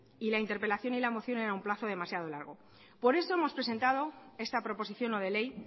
y la interpelación y la moción era un plazo demasiado largo por eso hemos presentado esta proposición no de ley